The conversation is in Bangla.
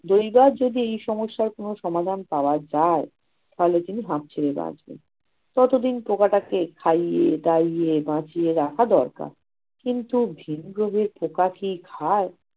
দিনরাত যদি এই সমস্যার কোন সমাধান পাওয়া যায়, তাহলে তিনি হাফ ছেড়ে বাঁচবেন। ততদিন পোকাটাকে খাইয়ে দাইয়ে বাঁচিয়ে রাখা দরকার। কিন্তু ভিনগ্রহী পোকা কি খায়-